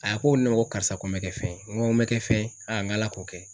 A ko ne ma ko karisa ko n bɛ kɛ fɛn ye. Ŋo n bɛ kɛ fɛn ye ŋ'Ala k'o kɛ.